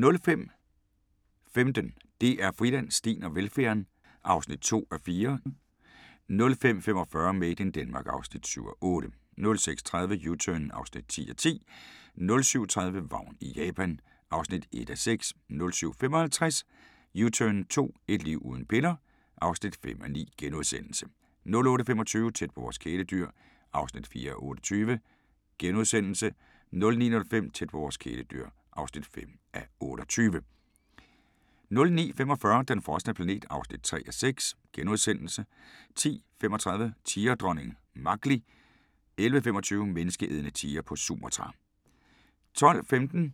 05:15: DR Friland: Steen og velfærden (2:4) 05:45: Made in Denmark (7:8) 06:30: U-Turn (10:10) 07:30: Vagn i Japan (1:6) 07:55: U-turn 2 - et liv uden piller? (5:9)* 08:25: Tæt på vores kæledyr (4:28)* 09:05: Tæt på vores kæledyr (5:28) 09:45: Den frosne planet (3:6)* 10:35: Tigerdronningen Machli 11:25: Menneskeædende tigre på Sumatra